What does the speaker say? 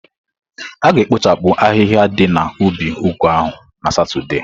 A ga-ekpochapụ ahịhịa ndi na ubi ugu ahu na Satọde.